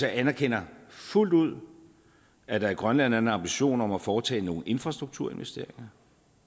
jeg anerkender fuldt ud at der i grønland er en ambition om at foretage nogle infrastrukturinvesteringer